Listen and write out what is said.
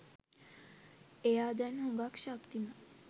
ඒයා දැන් හුගක් ශක්තිමත්